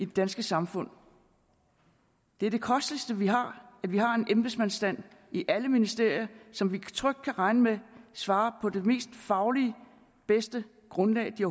danske samfund det er det kosteligste vi har har en embedsmandsstand i alle ministerier som vi trygt kan regne med svarer på det mest faglige og bedste grundlag den